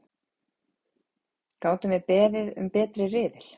Gátum við beðið um betri riðil?!